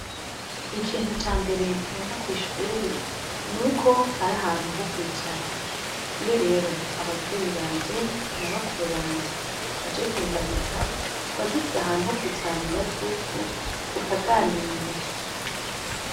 Ikintu ca mbere nkunda kw'ishuri nuko hari ahantu ho kwicara. Iyo rero abavyeyi banje na bakuru banje baje kundamutsa, tuba dufise ahantu ho kwicara mu gatutu tukaganira.